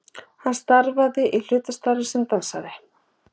Hann starfar í hlutastarfi sem dansari